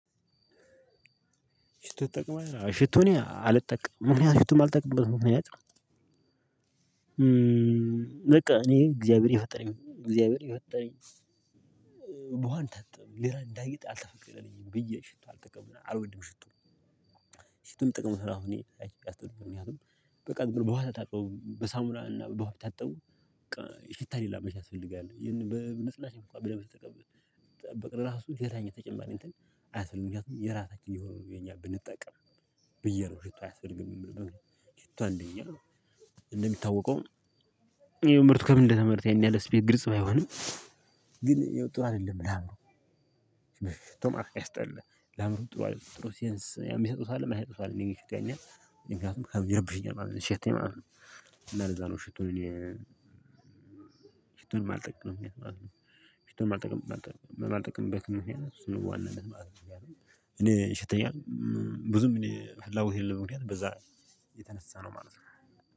ሽቶ ትጠቅማለህ? ሽቶ እኔ አልጠምም ምክንያቱም ሽቶ ማልጠቀምበት ምክንያት በቃ እኔ እግዚአብሔር የፈጠረኝ እግዚአብሔር የፈጠረኝ በውሃ አልታጠብም። ውሃ እንዳየህ ብየ ሽቶ አልወድም። ሽቶ ሚጠቀሙት ራሱ እኔ አይ ያስጠሉኛል። ምክንያቱም በቃ ዝምብሎ በውሃ ከታጠቢ በሳሙራ እና በውሃ ቢታጠቡ በቃ ሽታ የሌላት ያስፈልጋል። ይሄንን በልስላሴ እንኳን ብለህ ብትቀባ በቀን ራሱ ሌላ አይነት ተጨማሪ እንትን አያስፈልግም። ምክንያቱም የራሳችን የሆነ ነው የኛ ብንጠቀም። ብዬ ነው ሽቶ አያስደርግም የምልበት ምክንያት። ሽቶ አንደኛ እንደሚታወቀው ምርቱ ከምን እንደተመረተ ያን ያህል ግልጽ ባይሆንም ግን ያው ጥሩ አይደለም። ላምሩ ሽቶማ ያስጠላ። ለአእምሮ ጥሩ አይደለም። ሽቶ ሲንስ ያው የሚሰጡት አለ የማይሰጡት አለ። እኔን ይሸተኛል፣ እኔን ምክንያቱም ይረብሸኛል ማለት ነው ሲሸተኝ ማለት ነው። እና ለዛ ነው ሽቶ እኔ ሽቶን ማልጠቀምበት ማልጠቀምበት ምክንያት እሱ ነው በዋናነት። እኔ ይሸተኛል ብዙም እኔ ፈላጎት የሌለው በምክንያት በዛ ነው። የተነሳ ነው ማለት ነው።